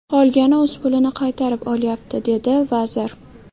Qolgani o‘z pulini qaytarib olyapti”, dedi vazir.